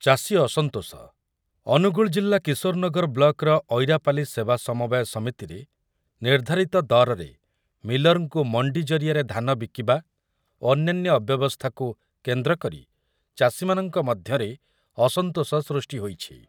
ଚାଷୀ ଅସନ୍ତୋଷ, ଅନୁଗୁଳ ଜିଲ୍ଲା କିଶୋରନଗର ବ୍ଲକ୍‌ର ଅଇରାପାଲି ସେବା ସମବାୟ ସମିତିରେ ନିର୍ଦ୍ଧାରିତ ଦରରେ ମିଲର୍‌ଙ୍କୁ ମଣ୍ଡି ଜରିଆରେ ଧାନ ବିକିବା ଓ ଅନ୍ୟାନ୍ୟ ଅବ୍ୟବସ୍ଥାକୁ କେନ୍ଦ୍ରକରି ଚାଷୀମାନଙ୍କ ମଧ୍ୟରେ ଅସନ୍ତୋଷ ସୃଷ୍ଟି ହୋଇଛି ।